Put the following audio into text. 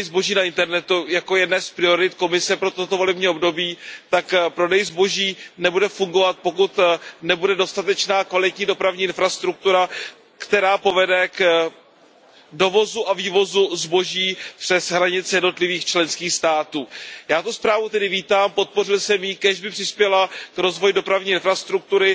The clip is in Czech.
zboží na internetu jako o jedné z priorit Komise pro toto volební období, tak prodej zboží nebude fungovat, pokud nebude dostatečná kvalitní dopravní infrastruktura, která povede k dovozu a vývozu zboží přes hranice jednotlivých členských států. Já tu zprávu tedy vítám, podpořil jsem ji, kéž by přispěla k rozvoji dopravní infrastruktury.